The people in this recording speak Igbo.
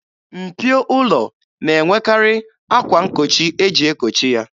Mpio ụlọ na-enwekarị akwa nkochi eji ekochi ya.